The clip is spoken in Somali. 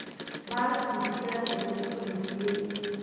Baalkii digaaga buu ka rujiyay